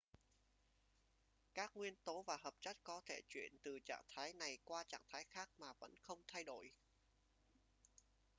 các nguyên tố và hợp chất có thể chuyển từ trạng thái này qua trạng thái khác mà vẫn không thay đổi